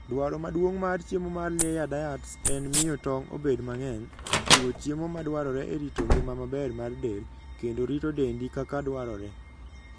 Dwaro maduong' mar chiemo mar layer diets en miyo tong' obed mang'eny, chiwo chiemo madwarore e rito ngima maber mar del, kendo rito dendi kaka dwarore.